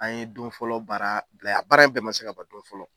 An ye don fɔlɔ baara bila ye a baara in bɛɛ man se ka ban don fɔlɔ.